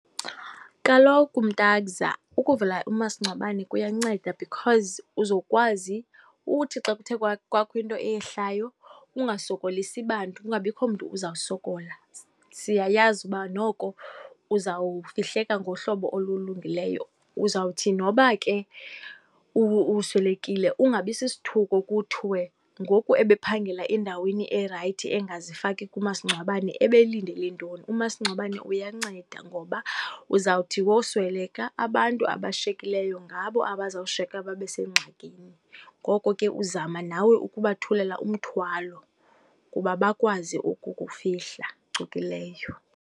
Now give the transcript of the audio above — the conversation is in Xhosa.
Kaloku mntakza, ukuvula umasingcwabane kuyanceda because uzokwazi uthi xa kuthe kwakho into eyehlayo ungasokolisi bantu, kungabikho mntu uzawusolokola. Siyayazi uba noko uzawufihleka ngohlobo olulungileyo. Uzawuthi noba ke uswelekile ungabi sisithuko kuthiwe, ngoku ebephangela endaweni erayithi engazifaki kumasingcwabane, ebelindele ntoni? Umasingcwabane uyanceda ngoba uzawuthi wosweleka, abantu abashiyekileyo ngabo abazawushiyeka babe sengxakini. Ngoko ke nawe uzama ukubathulela umthwalo ukuba bakwazi ukukufihla phucuphileyo.